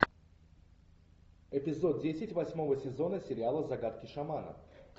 эпизод десять восьмого сезона сериала загадки шамана